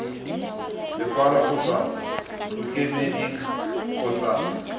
lekwalo go tswa ntlokemeding kgotsa